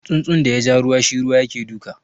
Tsunsun da yaja ruwa shi ruwa yake duka